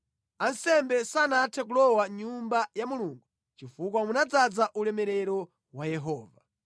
Ansembe sanathe kulowa mʼNyumba ya Mulungu chifukwa munadzaza ulemerero wa Yehova.